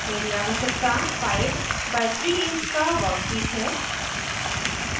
मेरी आवश्यकता 5 by 3 inch का वर्कपीस है